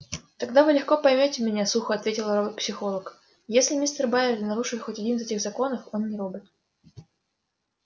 тогда вы легко поймёте меня сухо ответила робопсихолог если мистер байерли нарушит хоть один из этих законов он не робот